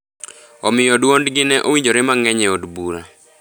Omiyo duondgi ne owinjore mangeny e od bura.